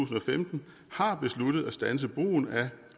vi har